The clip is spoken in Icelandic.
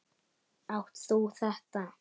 Átt þú þetta?